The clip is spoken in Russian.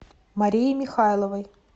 марией михайловой